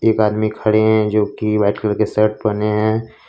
एक आदमी खड़े हैं जो कि व्हाइट कलर की शर्ट पहने हैं।